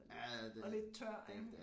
Og lidt og lidt tør ik